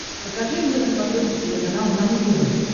покажи мне на смотрешке телеканал нано тв